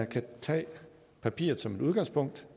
kan tage papiret som et udgangspunkt